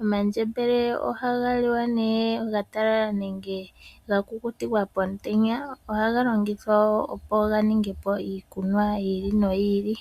Omandjembele ohaga liwa nee omatalala, nenge ga kukutikwa pomutenya. Ohaga longithwa nee okuninga iikunwa yi ili noyi ili.